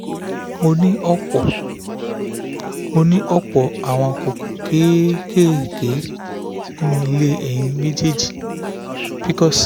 mo ní ọ̀pọ̀ mo ní ọ̀pọ̀ àwọn kókó kéékèèké nínú ilé ẹyin méjèèjì ( pcos)